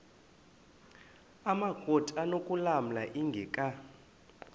amakrot anokulamla ingeka